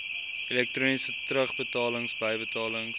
elektroniese terugbetalings bybetalings